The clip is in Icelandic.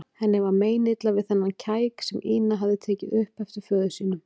Henni var meinilla við þennan kæk sem Ína hafði tekið upp eftir föður sínum.